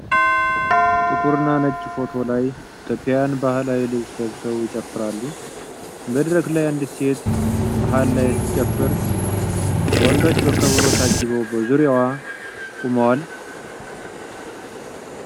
ጥቁርና ነጭ ፎቶ ላይ፣ ኢትዮጵያውያን ባህላዊ ልብስ ለብሰው ይጨፍራሉ። መድረክ ላይ አንዲት ሴት መሃል ላይ ስትጨፍር፣ ወንዶች በከበሮ ታጅበው በዙሪያዋ ቆመዋል።